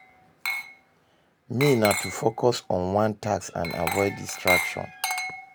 Me, na to focus on one task and avoid distraction.